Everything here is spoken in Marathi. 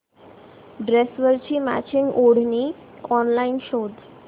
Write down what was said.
ड्रेसवरची मॅचिंग ओढणी ऑनलाइन शोध